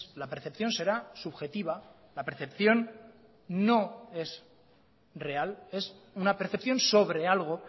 la percepción será subjetiva la percepción no es real es una percepción sobre algo